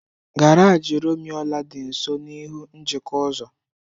Garaji Rumuọla dị nso n'ihu njikọ ụzọ.